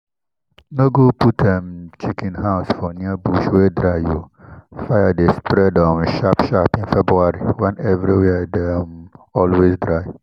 no go put um chicken house for near bush wey dry o—fire dey spread um sharp sharp in february when everywhere dey um always dry.